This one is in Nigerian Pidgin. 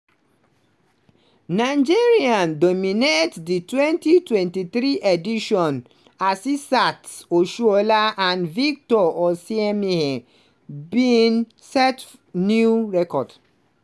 nigeria dominate di 2023 edition - asisat oshoala and victor osimhen bin set new record.